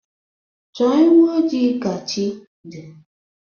Chọọ ewu ojii ka chi dị